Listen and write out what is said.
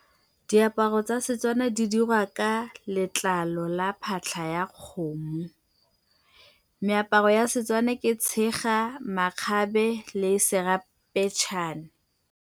Diaparo tsa Setswana di dirwa ka letlalo la phatlha ya kgomo. Meaparo ya setswana ke tshega, makgabe le serampeetšhane.